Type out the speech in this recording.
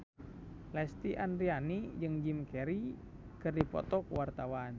Lesti Andryani jeung Jim Carey keur dipoto ku wartawan